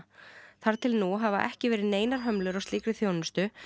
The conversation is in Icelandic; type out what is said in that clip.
þar til nú hafa ekki verið neinar hömlur á slíkri þjónustu